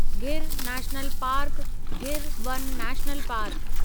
Gir national park, Gir वन national park